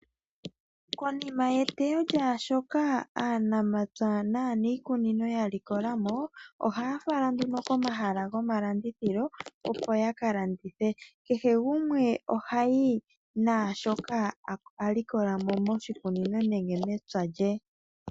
Konima yetewo lyaashoka aanamapya naanikunino ya likola mo, ohaya fala nduno komahala gomalandithilo opo yakalandithe. Kehe gumwe oha yi naashoka a likola mo moshikunino she nenge mepya lye.